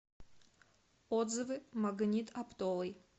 отзывы магнит оптовый